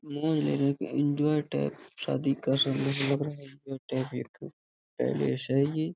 मौज लेने का एन्जॉय टाइप शादी का एक पैलेस है ये।